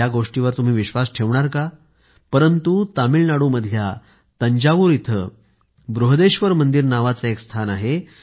या गोष्टींवर तुम्ही विश्वास ठेवणार का परंतु तामिळनाडूमधल्या तंजाऊर इथं बृहदेश्वर मंदिर नावाचे एक स्थान आहे